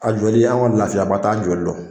A joli an ka lafiya ba t'a joli la.